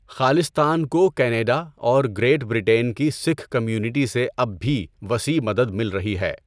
خالصتان کو کینیڈا اور Great Britain کی سکھ کمیونٹی سے اب بھی وسیع مدد مل رہی ہے۔